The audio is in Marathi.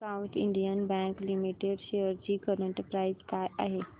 south Indian bank limited shares ची करंट प्राइस काय आहे